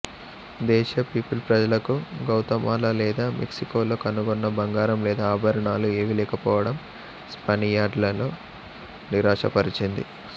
దేశీయ పిపిల్ ప్రజలకు గౌతమాలా లేదా మెక్సికోలో కనుగొన్న బంగారం లేదా ఆభరణాలు ఏవీ లేకపోవడం స్పానియర్డ్లను నిరాశపరిచింది